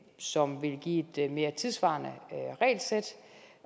som vil give et mere tidssvarende regelsæt